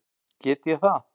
Get ég það?